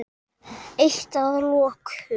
Eitt að lokum.